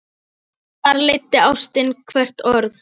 Þar leiddi ástin hvert orð.